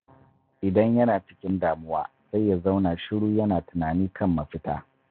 Idan yana cikin damuwa, sai ya zauna shiru yana tunani kan mafita.